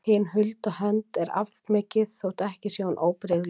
Hin hulda hönd er aflmikil þótt ekki sé hún óbrigðul.